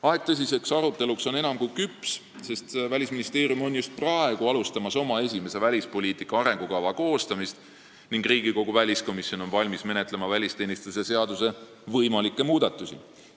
Aeg tõsiseks aruteluks on enam kui küps, sest Välisministeerium on just alustamas oma esimese välispoliitika arengukava koostamist ning Riigikogu väliskomisjon on valmis menetlema välisteenistuse seaduse võimalikke muudatusi.